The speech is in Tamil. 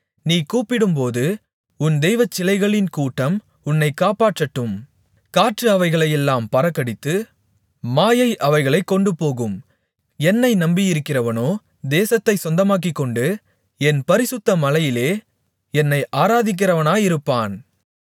நீ கூப்பிடும்போது உன் தெய்வச்சிலைகளின் கூட்டம் உன்னைக் காப்பாற்றட்டும் காற்று அவைகளையெல்லாம் பறக்கடித்து மாயை அவைகளைக் கொண்டுபோகும் என்னை நம்பியிருக்கிறவனோ தேசத்தைச் சொந்தமாக்கிக்கொண்டு என் பரிசுத்த மலையிலே என்னை ஆராதிக்கிறவனாயிருப்பான்